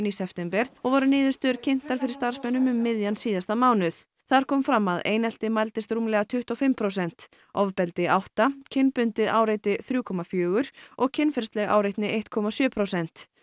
í september og voru niðurstöður kynntar fyrir starfsmönnum um miðjan síðasta mánuð GRAFÍK þar kom fram að einelti mældist rúmlega tuttugu og fimm prósent ofbeldi átta kynbundið áreiti þrjú komma fjögur og kynferðisleg áreitni eitt komma sjö prósent